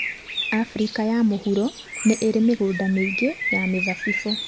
Afrika ya Mũhuro nĩ ĩrĩ mĩgũnda mĩingĩ ya mĩthabibũ.